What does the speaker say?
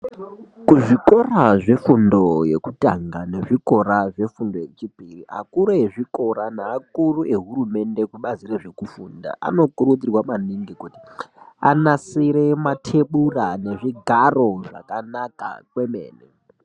Kuzvikora zvefundo yekutanga nezvikora zvefundo yechipiri akiru ezvikora neakuru ehurumende kubazi rezvekufunda anokurudzirwa maningi kuti anasire matebura nezvigaro zvakanaka kwemene.